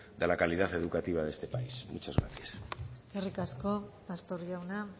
de la calidad educativa de este país muchas gracias eskerrik asko pastor jauna